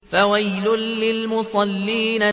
فَوَيْلٌ لِّلْمُصَلِّينَ